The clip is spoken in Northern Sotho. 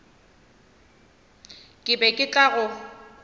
ke be ke tla go